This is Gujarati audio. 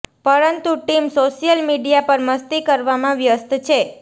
પરંતુ ટીમ સોશિયલ મીડિયા પર મસ્તી કરવામાં વ્યસ્ત છે